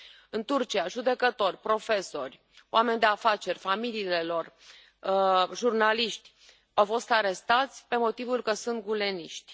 În Turcia, judecători, profesori, oameni de afaceri, familiile lor, jurnaliști, au fost arestați pe motivul că sunt guleniști.